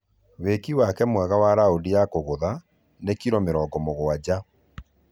Wĩki wake mwega wa raũndi ya kũgutha ni kiro mĩrongo mũgwaja